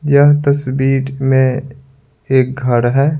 यह तस्वीर में एक घर है।